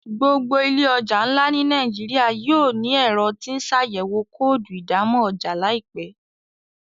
gbogbo ile ọja nlá ní Nàìjíríà yóò ní Ẹ̀rọ tí ńṣàyẹ̀wò kóòdù ìdámọ̀ ọjà láìpé.